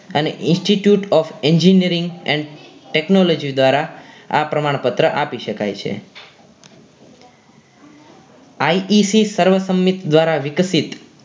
અને institute of engineering and technology દ્વારા આ પ્રમાણપત્ર આપી શકાય છે IEC સર્વ સંમિત દ્વારા વિકસિત